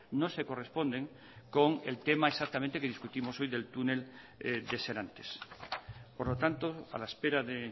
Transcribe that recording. no se corresponden con el tema exactamente que discutimos hoy del túnel de serantes por lo tanto a la espera de